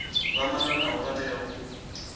vha malanaho vha tea u